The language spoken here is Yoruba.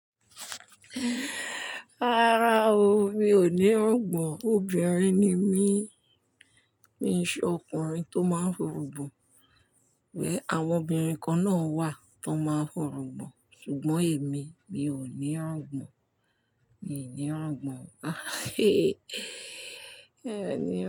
Rárá o, mi ò ní irugbàn, obìnrin ni mí, mi ò ṣe ọkùnrin tó máa ń fòrògbòn, wẹ̀ àwọn obìnrin kan náà wà tó máa ń fòrògbòn, ṣùgbọ́n èmi, mi ò ní rògbàn, mi ò ní rògbàn.